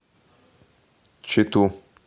читу